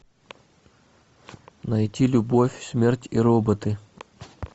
найти любовь смерть и роботы